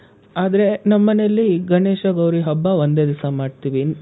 ಆದ್ರೆ, ನಮ್ ಮನೇಲಿ ಗಣೇಶ ಗೌರಿ ಹಬ್ಬ ಒಂದೇ ದಿವ್ಸ ಮಾಡ್ತೀವಿ.